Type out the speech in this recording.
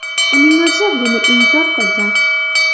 Uning o‘zi buni inkor qilgan.